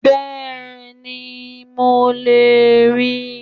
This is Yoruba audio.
Bẹ́ẹ̀ni mo lè ríi